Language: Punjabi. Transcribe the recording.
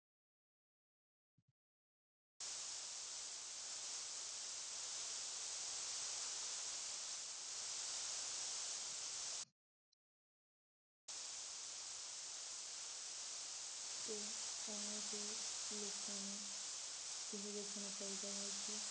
ਤੇ ਇਵੇਂ ਦੇ ਲੋਕਾਂ ਨੂੰ ਇਹ ਵੇਖਣਾ ਚਾਹੀਦਾ ਹੈ ਕਿ